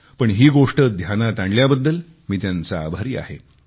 पण ही गोष्ट ध्यानात आणल्याबद्दल मी त्यांचा आभारी आहे